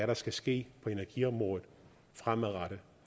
der skal ske på energiområdet fremadrettet